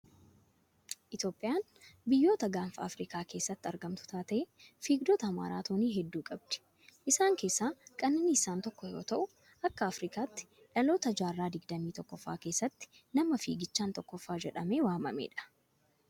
Itoophiyaan biyyoota gaanfa Afirikaa keessatti argamtu taatee, fiigdota maraatoonii hedduu qabdi. Isaan keessaa Qananiisaan tokko yoo ta'u, akka Afrikaatti dhaloota jaarraa digdamii tokkoffaa keessatti nama fiigichaan tokkoffaa jedhamee waamame dha.